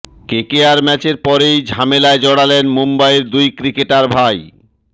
KKR ম্যাচের পরেই ঝামেলায় জড়ালেন মুম্বইয়ের দুই ক্রিকেটার ভাই